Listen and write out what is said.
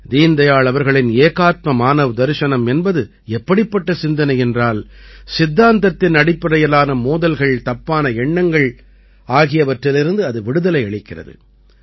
தீன்தயாள் அவர்களின் ஏகாத்ம மானவ்தர்சனம் என்பது எப்படிப்பட்ட சிந்தனை என்றால் சித்தாந்தத்தின் அடிப்படையிலான மோதல்கள் தப்பான எண்ணங்கள் ஆகியவற்றிலிருந்து அது விடுதலை அளிக்கிறது